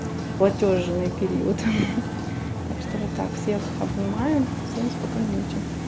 платёжный период так что вот так всех обнимаю всем спокойной ночи